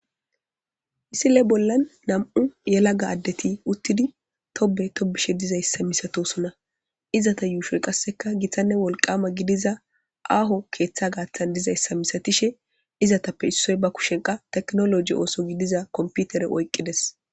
Isile bollan nam'u yelaga addeti uttidi tobe tobishe dizayssa misatosona izata yuushoy qasseka githanne wolqama gidiza aaho keeththa gaaththan dizayssa misatishe izatappe issoy ba kushenqa teknoloji ooso gidiza komputere oyqqides.